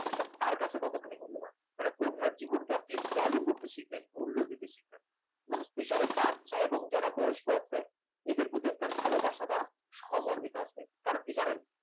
তার কাছে ততখানি মূল্যবান অন্যের জীবনকে আপনি value করতে শিখবেন মূল্য দিতে শিখবেন এবং specially বাচ্চা এবং যারা বয়স্ক আছে এদের প্রতি একটা ভালোবাসা বা সহমর্মিতা আসবে। কারণ কি জানেন